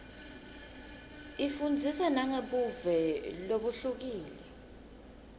ifundzisa nangebuve lobuhlukile